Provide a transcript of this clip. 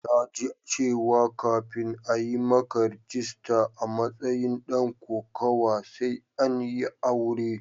Na ji cewa kafin a yi maka rajista a matsayin dan kokawa sai an yi aure.